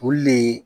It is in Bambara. Olu le